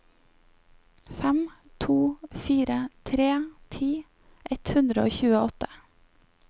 fem to fire tre ti ett hundre og tjueåtte